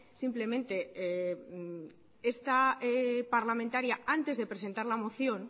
simplemente esta parlamentaria antes de presentar la moción